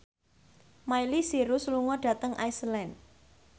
Miley Cyrus lunga dhateng Iceland